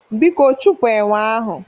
Biko chụpụ enwe ahụ!